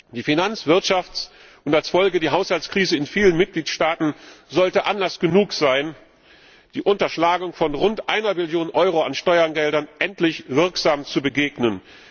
Die Finanz Wirtschafts und als Folge die Haushaltskrise in vielen Mitgliedstaaten sollten Anlass genug sein, der Unterschlagung von rund einer Billion Euro an Steuergeldern endlich wirksam zu begegnen.